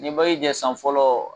N ye jɛ san fɔlɔ